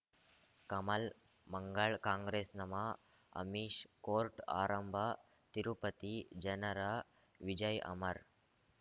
ಕಮಲ್ ಮಂಗಳ್ ಕಾಂಗ್ರೆಸ್ ನಮಃ ಅಮಿಷ್ ಕೋರ್ಟ್ ಆರಂಭ ತಿರುಪತಿ ಜನರ ವಿಜಯ್ ಅಮರ್